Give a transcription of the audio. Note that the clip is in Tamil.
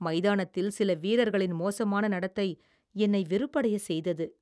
மைதானத்தில் சில வீரர்களின் மோசமான நடத்தை என்னை வெறுப்படைய செய்தது.